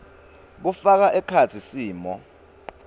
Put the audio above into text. kufaka ekhatsi simo